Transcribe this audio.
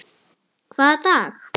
Hvaða dag?